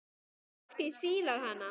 Fólkið fílar hana.